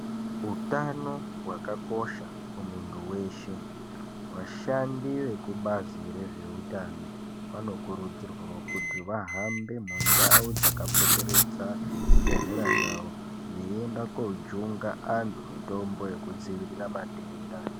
Utano hwakakosha kumundy weshe vashandi vekubazi reutano vanokurudzirwa kuti vahambe mundau dzakapoteredzana zvibhehleya zvavo veienda kojunga andu mutombo yekudzirira matenda .